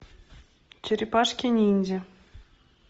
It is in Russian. черепашки ниндзя